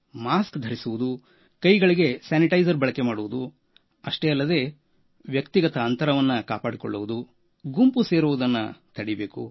mask ಧರಿಸುವುದು ಕೈಗಳಿಗೆ sanitiser ಬಳಕೆ ಮಾಡುವುದು ಅಷ್ಟೇ ಅಲ್ಲದೆ ವ್ಯಕ್ತಿಗತ ಅಂತರ ಕಾಪಾಡಿಕೊಳ್ಳುವುದು ಗುಂಪು ಸೇರುವುದನ್ನು ತಡೆಯಬೇಕು